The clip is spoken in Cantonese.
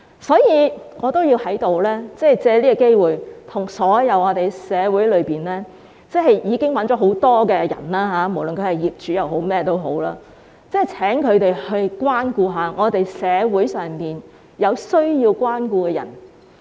所以，我要藉此機會跟社會上所有已經賺取很多金錢的人說，無論他們是業主或是甚麼人，請他們關顧一下社會上有需要關顧的人。